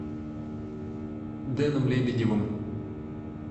дэном лебедевым